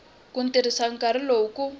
ku tirhisa nkarhi lowu ku